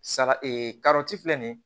Sara filɛ nin ye